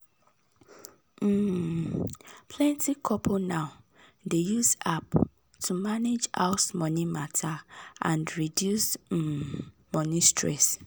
plenty couple now dey use app to manage House money matter and reduce um money stress